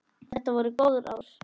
Þetta voru góð ár.